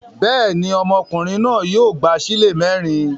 Bẹ́ẹ̀ ni, ọmọkùnrin náà yóò gba ṣílè mẹ́rin.